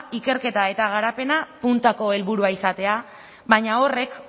ikerketa eta garapena puntako helburu izatea baina horrek